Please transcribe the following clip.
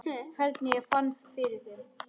Hvernig ég fann fyrir þeim?